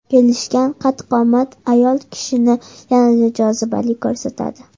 Kelishgan qad-qomat ayol kishini yanada jozibali ko‘rsatadi.